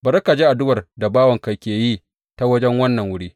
Bari ka ji addu’ar da bawanka ke yi ta wajen wannan wuri.